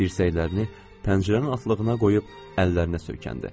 Dirsəklərini pəncərənin atlığına qoyub əllərinə söykəndi.